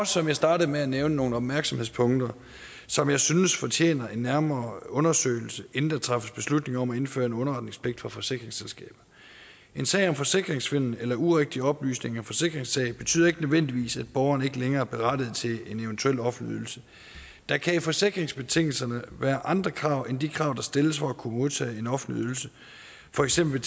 som jeg startede med at nævne nogle opmærksomhedspunkter som jeg synes fortjener en nærmere undersøgelse inden der træffes beslutning om at indføre en underretningspligt for forsikringsselskaber en sag om forsikringssvindel eller urigtige oplysninger forsikringssag betyder ikke nødvendigvis at borgeren ikke længere er berettiget til en eventuel offentlig ydelse der kan i forsikringsbetingelserne være andre krav end de krav der stilles for at kunne modtage en offentlig ydelse for eksempel